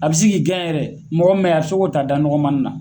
A bi se k'i gɛn yɛrɛ mɔgɔ min bɛ yen a bi se k'o ta da nɔgɔmanin na.